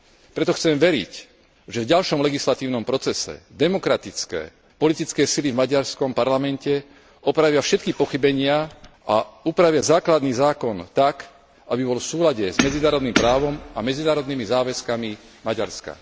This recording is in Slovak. Preto chcem veriť, že v ďalšom legislatívnom procese demokratické, politické sily v maďarskom parlamente opravia všetky pochybenia a upravia základný zákon tak, aby bol v súlade s medzinárodným právom a medzinárodnými záväzkami Maďarska.